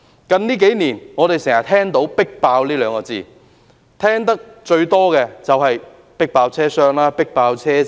我們近年經常聽到"迫爆"這兩個字，聽得最多的就是"迫爆"車廂、"迫爆"車站。